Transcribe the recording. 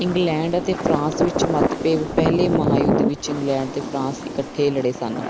England ਅਤੇ France ਵਿੱਚ ਮਤਭੇਵ ਪਹਿਲੇ ਮਹਾਂਯੁਧ ਵਿੱਚ ਇੰਗਲੈਂਡ ਤੇ ਫਰਾਂਸ ਇਕੱਠੇ ਲੜੇ ਸਨ